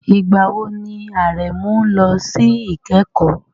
Ìgbà wo ni Aremeu lọ sí ìkẹ́kọ̀ọ́?